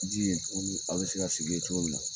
Jigi aw bɛ se ka sigi yen cogo min na